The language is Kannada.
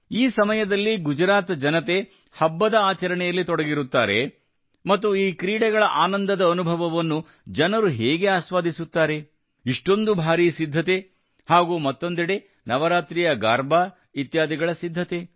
ಈ ಸಮಯದಲ್ಲಿ ಗುಜರಾತ್ ಜನತೆ ಹಬ್ಬದ ಆಚರಣೆಯಲ್ಲಿ ತೊಡಗಿರುತ್ತಾರೆ ಮತ್ತು ಈ ಕ್ರೀಡೆಗಳ ಆನಂದದ ಅನುಭವವನ್ನು ಜನರು ಹೇಗೆ ಆಸ್ವಾದಿಸುತ್ತಾರೆ ಇಷ್ಟೊಂದು ಭಾರೀ ಸಿದ್ಧತೆ ಹಾಗೂ ಮತ್ತೊಂದೆಡೆ ನವರಾತ್ರಿಯ ಗರ್ಭಾ ಇತ್ಯಾದಿಗಳ ಸಿದ್ಧತೆ